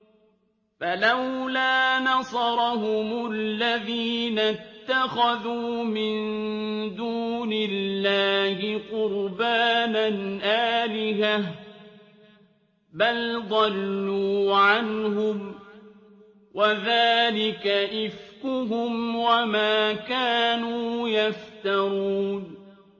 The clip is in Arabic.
فَلَوْلَا نَصَرَهُمُ الَّذِينَ اتَّخَذُوا مِن دُونِ اللَّهِ قُرْبَانًا آلِهَةً ۖ بَلْ ضَلُّوا عَنْهُمْ ۚ وَذَٰلِكَ إِفْكُهُمْ وَمَا كَانُوا يَفْتَرُونَ